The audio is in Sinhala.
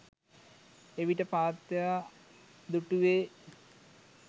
එවිට පාත්තයා දුටුවේ